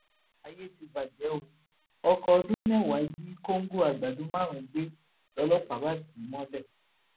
ayé tí bàjẹ o ọkọọdún mẹwàá jí kọńgò àgbàdo márùnún gbé lọlọpàá bá tì í mọlẹ